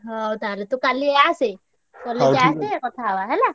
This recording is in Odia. ହଉ ତାହେଲେ ତୁ କାଲି ଆସେ college ଆସେ କଥା ହେବା ହେଲା।